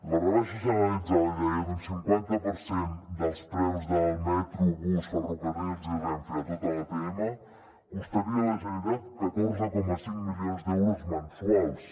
la rebaixa generalitzada li deia d’un cinquanta per cent dels preus del metro bus ferrocarrils i renfe a tota l’atm costaria a la generalitat catorze coma cinc milions d’euros mensuals